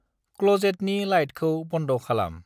क्ल'जेटनि लाइटखौ बन्द' खालाम।